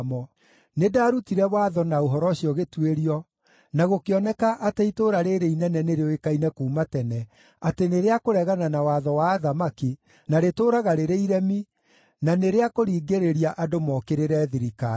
Nĩndarutire watho na ũhoro ũcio ũgĩtuĩrio, na gũkĩoneka atĩ itũũra rĩĩrĩ inene nĩrĩũĩkaine kuuma tene atĩ nĩ rĩa kũregana na watho wa athamaki, na rĩtũũraga rĩrĩ iremi, na nĩ rĩa kũringĩrĩria andũ mookĩrĩre thirikari.